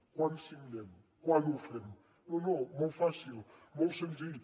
quan signem quan ho fem no no molt fàcil molt senzill